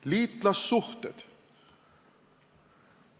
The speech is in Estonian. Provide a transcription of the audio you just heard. Liitlassuhted.